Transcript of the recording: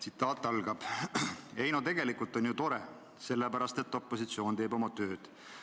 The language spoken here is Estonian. Tsitaat algab: "Ei noh, tegelikult on ju tore, sest opositsioon teeb oma tööd.